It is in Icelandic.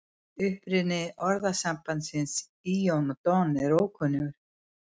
Uppruni orðasambandsins lon og don er ókunnur.